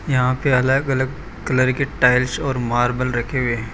यहां पे अलग अलग कलर के टाइल्स और मार्बल रखे गए हैं।